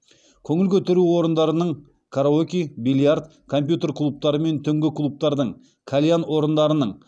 көңіл көтеру орындарының караоке бильярд компьютер клубтары мен түнгі клубтардың кальян орындарының